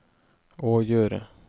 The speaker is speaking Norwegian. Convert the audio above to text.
å gjøre